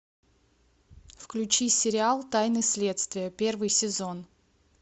включи сериал тайны следствия первый сезон